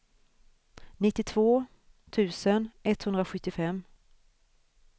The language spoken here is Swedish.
nittiotvå tusen etthundrasjuttiofem